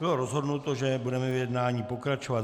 Bylo rozhodnuto, že budeme v jednání pokračovat.